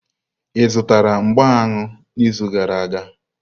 Ị zụtara mgbá aṅụ n'izu gara aga?